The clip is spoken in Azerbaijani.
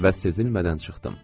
Və sezilmədən çıxdım.